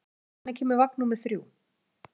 Þórgunna, hvenær kemur vagn númer þrjú?